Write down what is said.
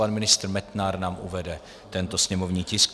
Pan ministr Metnar nám uvede tento sněmovní tisk.